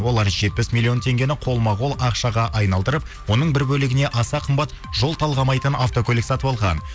олар жетпіс миллион теңгені қолма қол ақшаға айналдырып оның бір бөлігіне аса қымбат жол талғамайтын автокөлік сатып алған